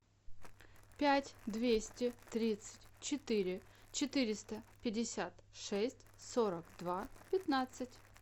пять двести тридцать четыре четыреста пятьдесят шесть сорок два пятнадцать